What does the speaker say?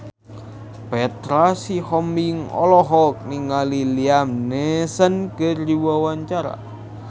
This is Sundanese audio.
Petra Sihombing olohok ningali Liam Neeson keur diwawancara